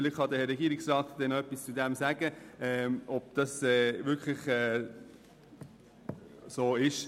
Vielleicht kann sich der Regierungsrat noch äussern, ob dem wirklich so ist.